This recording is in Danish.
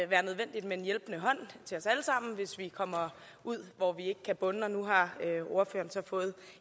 være nødvendigt med en hjælpende hånd til os alle sammen hvis vi kommer ud hvor vi ikke kan bunde og nu har ordføreren så fået